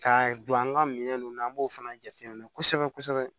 Ka don an ka minɛn ninnu na an b'o fana jateminɛ kosɛbɛ kosɛbɛ